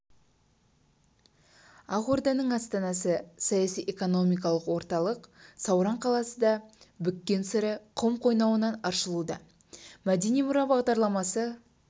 ақ орданың астанасы саяси-экономикалық орталық сауран қаласының да бүккен сыры құм қойнауынан аршылуда мәдени мұра бағдарламасы